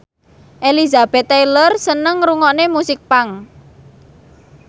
Elizabeth Taylor seneng ngrungokne musik punk